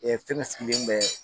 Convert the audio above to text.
fɛn dɔ bɛ